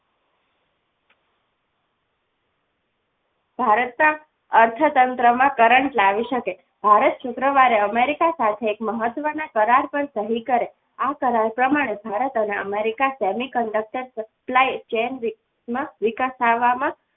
ભારતના અર્થતંત્રમાં કરંટ લાવી શકે ભારત શુક્રવારે America સાથે મહત્વના કરાર પર સહી કરી આ કરાર પ્રમાણે ભારત અને America semiconductor supply ચેન ના વિકાસ કરવામાં